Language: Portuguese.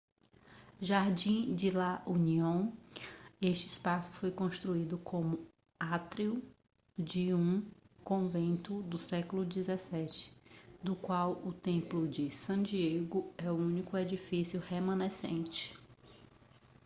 jardín de la unión este espaço foi construído como átrio de um convento do século 17 do qual o templo de san diego é o único edifício remanescente